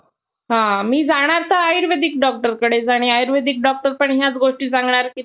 आणि सविस्तर माहिती क्षेत्रफळ जपानचे क्षेत्रफळ हे तीन लाख सत्यातर हजार तीनशे एकोन्नवद चवरस किलोमीटर असून त्याचा विस्तारा